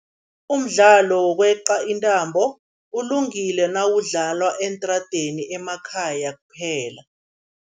Umdlalo wokweqa intambo ulungile nawudlalwa eentradeni, emakhaya kuphela.